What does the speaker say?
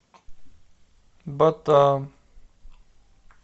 батам